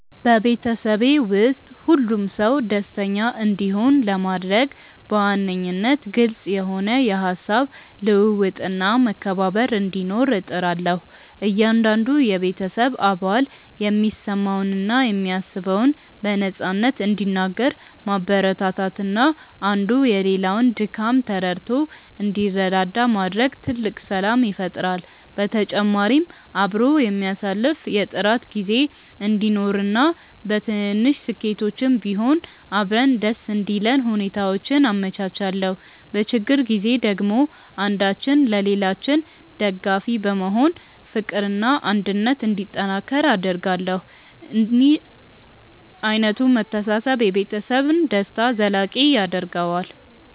በቤተሰቤ ውስጥ ሁሉም ሰው ደስተኛ እንዲሆን ለማድረግ በዋነኝነት ግልጽ የሆነ የሃሳብ ልውውጥና መከባበር እንዲኖር እጥራለሁ። እያንዳንዱ የቤተሰብ አባል የሚሰማውንና የሚያስበውን በነፃነት እንዲናገር ማበረታታትና አንዱ የሌላውን ድካም ተረድቶ እንዲረዳዳ ማድረግ ትልቅ ሰላም ይፈጥራል። በተጨማሪም አብሮ የሚያሳልፍ የጥራት ጊዜ እንዲኖረንና በትንንሽ ስኬቶችም ቢሆን አብረን ደስ እንዲለን ሁኔታዎችን አመቻቻለሁ። በችግር ጊዜ ደግሞ አንዳችን ለሌላችን ደጋፊ በመሆን ፍቅርና አንድነት እንዲጠናከር አደርጋለሁ። እንዲህ ዓይነቱ መተሳሰብ የቤተሰብን ደስታ ዘላቂ ያደርገዋል።